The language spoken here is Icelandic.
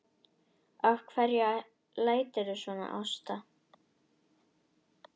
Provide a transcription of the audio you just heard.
Af hverju læturðu svona Ásta?